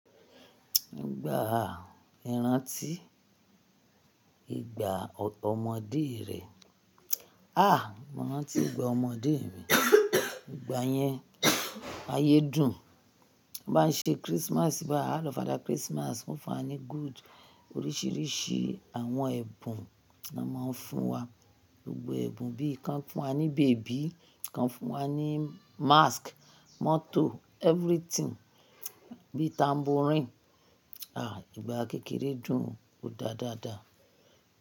Ìgbà ìrántí ìgbà ọmọdé rẹ. Ah! Mo rántí ìgbà ọmọdé mi. Ìgbà yẹn ayé dùn. Wọ́n máa ń ṣe Christmas ba, a lọ fada Christmas, wọ́n fún wa ní good oríṣiríṣi àwọn ẹ̀bùn ló máa ń fún wa. Gbogbo ẹ̀bùn bí i kan fún wa ní baby, kan fún wa ní mask, mọ́tò, everything bí i tambourine. Ah! Ìgbà kékeré dùn o dáadáa dá.